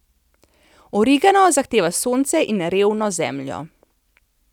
Origano zahteva sonce in revno zemljo.